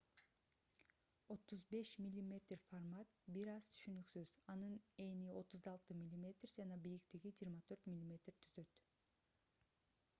35 мм формат бир аз түшүнүксүз анын эни 36 мм жана бийиктиги 24 мм түзөт